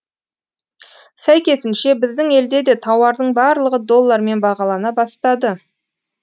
сәйкесінше біздің елде де тауардың барлығы доллармен бағалана бастады